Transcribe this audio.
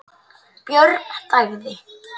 Björn þagði.